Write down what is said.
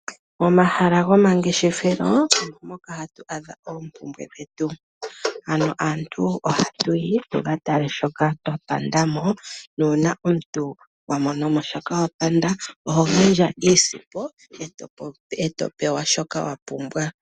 Mo mahala goma ngeshefelo omo moka hatu adha oompumbwe dhetu, ano aantu oha tuyi tuka tale shoka twa pandamo nuuna omuntu wamonomo shoka wapanda oho gandja iisimpo eto pewa shoka wapumbwa.